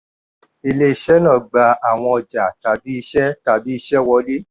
ilé iṣẹ́ náà gba àwọn ọjà tabi iṣẹ́ tabi iṣẹ́ wọlé